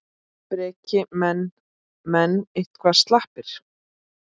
Breki: Menn, menn eitthvað slappir?